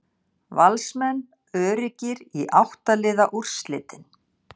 Valsmenn öruggir í átta liða úrslitin